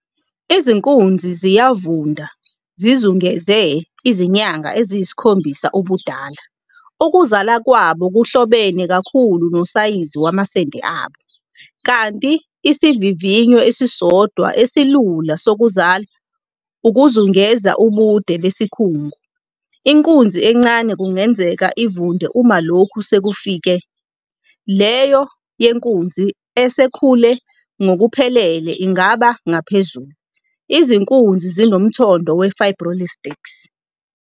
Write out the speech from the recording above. Izinkunzi ziyavunda zizungeze izinyanga eziyisikhombisa ubudala. Ukuzala kwabo kuhlobene kakhulu nosayizi wamasende abo, kanti isivivinyo esisodwa esilula sokuzala ukuzungeza ubude besikhungu, inkunzi encane kungenzeka ivunde uma lokhu sekufike, leyo yenkunzi esekhule ngokuphelele ingaba ngaphezu. Izinkunzi zinomthondo we-fibroelastic.